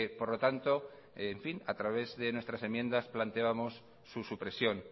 por lo tanto a través de nuestras enmiendas planteábamos su supresión